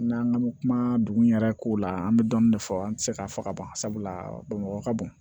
N'an bɛ kuma dugu in yɛrɛ ko la an bɛ dɔɔnin de fɔ an tɛ se k'a fɔ ka ban sabula bamakɔ ka bon